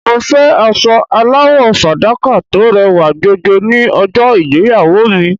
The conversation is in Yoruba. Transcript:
Mo fẹ́ aṣọ aláwọ̀ fàdákà tó rẹwà jọjọ ní ọjọ́ ìgbéyàwó mi.